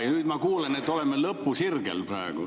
Ja nüüd ma kuulen, et oleme lõpusirgel.